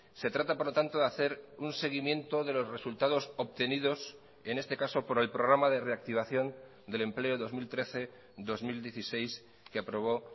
se trata por lo tanto de hacer un seguimiento de los resultados obtenidos en este caso por el programa de reactivación del empleo dos mil trece dos mil dieciséis que aprobó